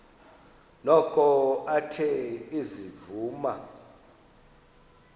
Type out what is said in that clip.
noko athe ezivuma